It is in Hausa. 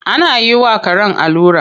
Ana yi wa karen allura.